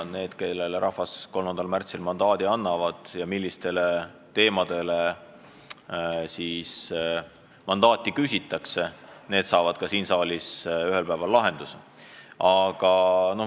Need, kellele rahvas 3. märtsil selle teema lahkamiseks mandaadi annab, selle küsimuse siin saalis ühel päeval ka lahendavad.